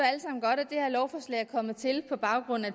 det her lovforslag er kommet til på baggrund af